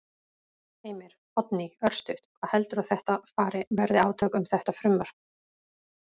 Heimir: Oddný, örstutt, hvað heldurðu að þetta fari, verði átök um þetta frumvarp?